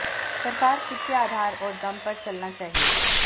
सरकार खुद के आधार और दम पर चलना चाहिए